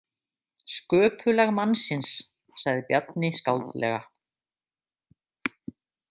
Sköpulag mannsins, sagði Bjarni skáldlega.